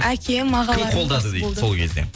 әкем ағаларым кім қолдады дейді сол кезде